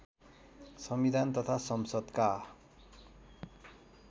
संविधान तथा संसदका